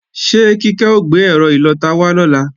Ṣé Kíkẹ́ ó gbé ẹ́rọ ìlọta wá lọ́la?